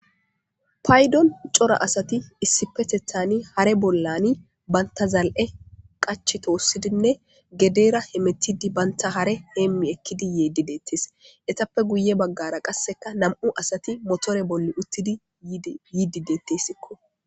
paydon cora asati issipetethani hare bollani banta zal7e qach toossidinne gedera hemetidi banta hare heemmi ekkidi yiidi deettes etappe guye baggara qasseka nam7u asati botore bolli uttidi yiidi deettessikko